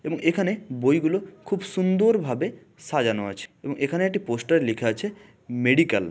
এবং এখানে বইগুলো খুব সুন্দর ভাবে সাজানো আছে এবং এখানে একটি পোস্টারে লেখা আছে মেডিকেল ।